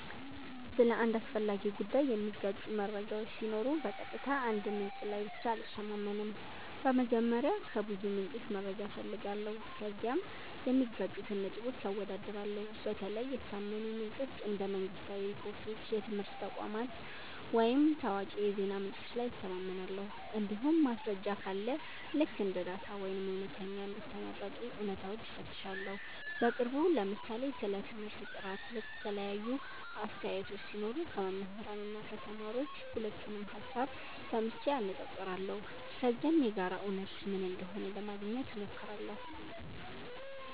ስለ አንድ አስፈላጊ ጉዳይ የሚጋጩ መረጃዎች ሲኖሩ በቀጥታ አንድ ምንጭ ላይ ብቻ አልተማመንም። በመጀመሪያ ከብዙ ምንጮች መረጃ እፈልጋለሁ፣ ከዚያም የሚጋጩትን ነጥቦች አወዳድራለሁ። በተለይ የታመኑ ምንጮች እንደ መንግሥታዊ ሪፖርቶች፣ የትምህርት ተቋማት ወይም ታዋቂ የዜና ምንጮች ላይ እተማመናለሁ። እንዲሁም ማስረጃ ካለ ልክ እንደ ዳታ ወይም እውነተኛ እንደ ተመረጡ እውነታዎች እፈትሻለሁ። በቅርቡ ለምሳሌ ስለ ትምህርት ጥራት የተለያዩ አስተያየቶች ሲኖሩ ከመምህራን እና ከተማሪዎች ሁለቱንም ሀሳብ ሰምቼ አነፃፅራለሁ። ከዚያም የጋራ እውነት ምን እንደሆነ ለማግኘት ሞክራለሁ።